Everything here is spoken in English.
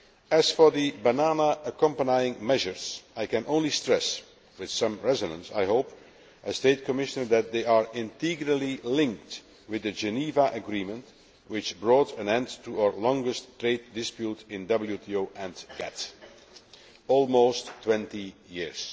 As for the banana accompanying measures, I can only stress, with some resonance I hope as Trade Commissioner, that they are integrally linked with the Geneva Agreement which brought an end to our longest trade dispute in WTO and GATT, which lasted almost 20 years.